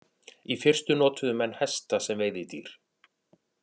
Í fyrstu notuðu menn hesta sem veiðidýr.